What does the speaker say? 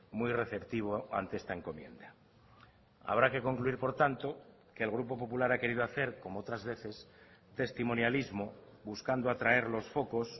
muy receptivo ante esta encomienda habrá que concluir por tanto que el grupo popular ha querido hacer como otras veces testimonialismo buscando atraer los focos